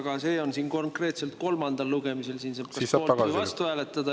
Aga see on siin kolmandal lugemisel, siin saab kas poolt või vastu hääletada.